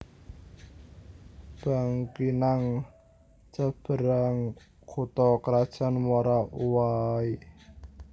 Bangkinang Seberang kutha krajan Muara Uwai